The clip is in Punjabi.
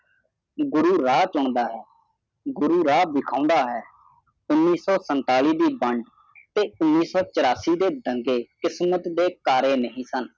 ਗੁਰੂ ਰਿਹਾ ਬੁਣਦਾ ਦਾ ਹੈ ਗੁਰੂ ਰਿਹਾ ਦਿਖਦਾ ਹੈ ਉਣੀ ਸੋ ਸੰਤਾਲ਼ੀ ਦੀ ਬਣ ਤੇ ਓਨੀ ਸੋ ਚੁਰਾਸੀ ਦੇ ਬੰਦੇ ਕਿਸਮਤ ਦੇ ਤਾਰੇ ਨਹੀਂ ਸਨ